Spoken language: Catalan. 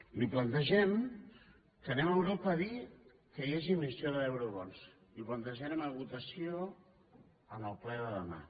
li plantegem que anem a europa a dir que hi hagi emissió d’eurobons i ho plantejarem a votació en el ple de demà